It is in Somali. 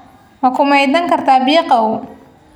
Ma ku maydhan kartaa biyo qabow?